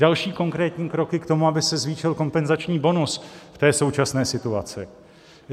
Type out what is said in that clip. Další konkrétní kroky k tomu, aby se zvýšil kompenzační bonus v té současné situaci.